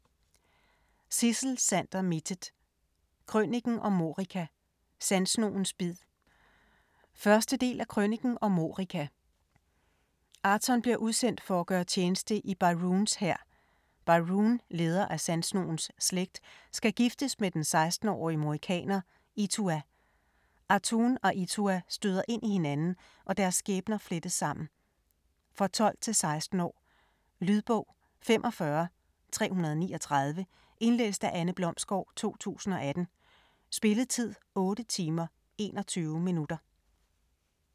Mittet, Sidsel Sander: Krøniken om Morika - sandsnogens bid 1. del af Krøniken om Morika. Aaton bliver udsendt for at gøre tjeneste i Byroons hær. Byroon, leder af Sandsnogens slægt, skal giftes med den 16-årige morikaner, Itua. Aaton og Itua støder ind i hinanden, og deres skæbner flettes sammen. For 12-16 år. Lydbog 45339 Indlæst af Anne Blomsgård, 2018. Spilletid: 8 timer, 21 minutter.